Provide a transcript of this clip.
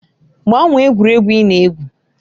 Gbanwee egwuregwu ị na-egwu!